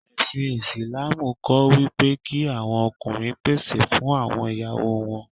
Ẹ̀sìn Ìsìlámù kọ́ wípé kí àwọn ọkùnrin pèsè fún àwọn ìyáwó wọn.